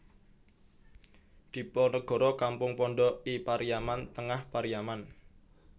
Diponegoro Kampung Pondok I Pariaman Tengah Pariaman